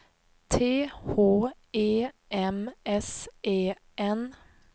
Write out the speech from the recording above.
T H E M S E N